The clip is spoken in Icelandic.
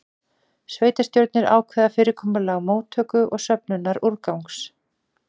Sveitarstjórnir ákveða fyrirkomulag móttöku og söfnunar úrgangs.